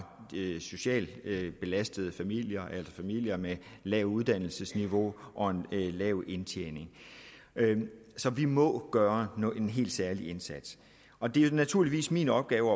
socialt belastede familier eller familier med lavt uddannelsesniveau og en lav indtjening så vi må gøre en helt særlig indsats og det er naturligvis min opgave